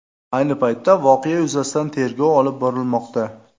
Ayni paytda voqea yuzasidan tergov olib borilmoqda.